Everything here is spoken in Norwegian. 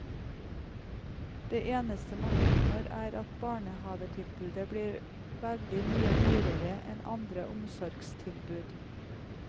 Det eneste man oppnår, er at barnehavetilbudet blir veldig mye dyrere enn andre omsorgstilbud.